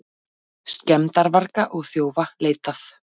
Skemmdarvarga og þjófa leitað